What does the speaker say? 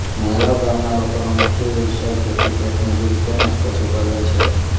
મહેલાવ ગામના લોકોનો મુખ્ય વ્યવસાય ખેતી ખેતમજૂરી તેમ જ પશુપાલન છે